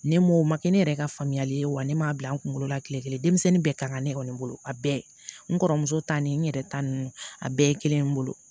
Ne m'o o ma kɛ ne yɛrɛ ka faamuyali ye wa ne m'a bila n kunkolo la kile kelen denmisɛnnin bɛɛ kan ka ne kɔni bolo a bɛɛ n kɔrɔmuso ta ni n yɛrɛ ta ninnu a bɛɛ ye kelen ye n bolo